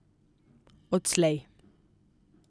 Odslej.